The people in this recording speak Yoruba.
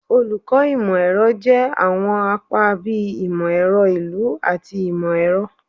Olukọ imọ-ẹrọ jẹ awọn apa bii Imọ-ẹrọ Ilu ati Imọ-ẹrọ